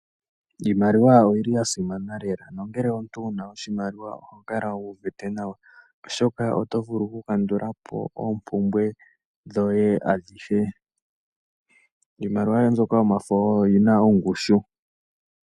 Iimaliwa oyi li ya simana lela nongele omuntu owu na oshimaliwa oho kala wu uvite nawa, oshoka oto vulu okukandula po oompumbwe dhoye adhihe. Iimaliwa yoye mbyoka yomafo oyo yi na ongushu.